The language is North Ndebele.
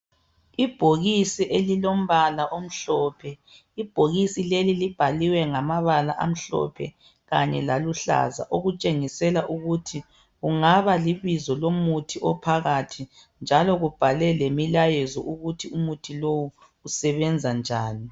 Ibhokisi elilombala omhlophe ibhokisi leli libhaliwe ngamabala amhlophe kanye laluhlaza okutshengisela ukuthi kungaba libizo lomuthi ophakathi njalo kubhalwe lemilayezo ukuthi umuthi lowu usebenza njani.